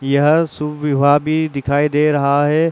यह शुभ विवाह भी दिखाई दे रहा है।